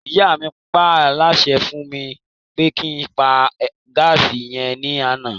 Ìyá mi paálásẹ fún mi pé kí n pa gáàsì yẹn ní àná